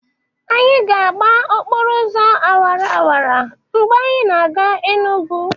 Anyị ga-agba okporo ụzọ awara awara mgbe anyị na-aga Enugwu.